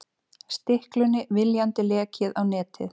Stiklunni viljandi lekið á netið